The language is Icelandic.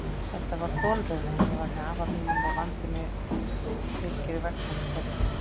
Þetta var þolraun, en ég var með afa mínum og vandi fylgir vegsemd hverri.